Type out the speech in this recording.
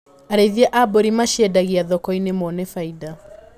Arĩithia a mbũri maciendagia thokoinĩ mone bainda.